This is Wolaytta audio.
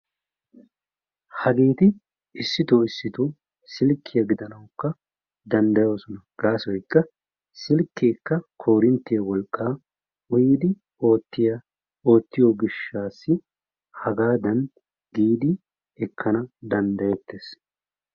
Hageeti issitoo issitoo silkkiya gidanawukka danddayoosona. Gaasoykka silkkeekka koorinttiya wolqqaa uyidi oottiya oottiyo gishshaassa. Hagaadan giidi ekkana danddayeettes.